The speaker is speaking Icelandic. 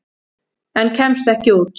En kemst ekki út.